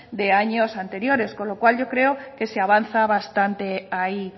de años anteriores con lo cual yo creo que se avanza bastante ahí